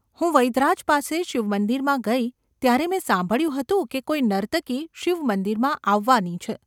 હું વૈદ્યરાજ પાસે શિવમંદિરમાં ગઈ ત્યારે મેં સાંભળ્યું હતું કે કોઈ નર્તકી શિવમંદિરમાં આવવાની છે.